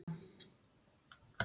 Askan bætir uppskeruna